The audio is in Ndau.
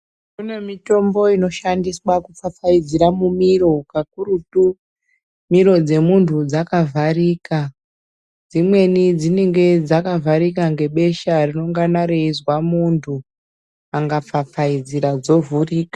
Kune mitombo inoshandiswa kufafaidziira mumiro kakurutu Miro dzemuntu dzakavharika dzimweni dzinenge dzakavharika ngebesha ringane reinzwa munhu angafafaidzira dzovhurika.